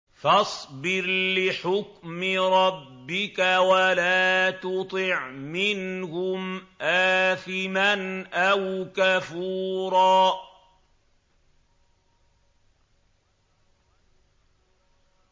فَاصْبِرْ لِحُكْمِ رَبِّكَ وَلَا تُطِعْ مِنْهُمْ آثِمًا أَوْ كَفُورًا